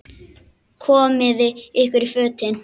Komiði ykkur í fötin.